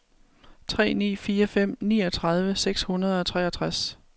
tre ni fire fem niogtredive seks hundrede og treogtres